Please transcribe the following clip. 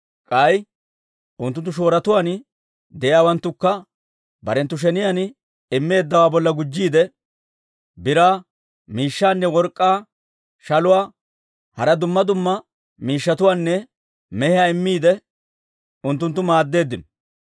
K'ay unttunttu shooruwaan de'iyaawanttukka barenttu sheniyaan immeeddawaa bolla gujjiide, biraa miishshaanne work'k'aa shaluwaa, hara dumma dumma miishshatuwaanne mehiyaa immiide, unttuntta maaddeeddino.